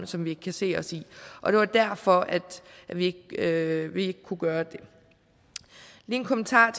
som vi kan se os i og det var derfor at vi ikke kunne gøre det lige en kommentar